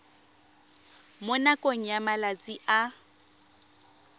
mo nakong ya malatsi a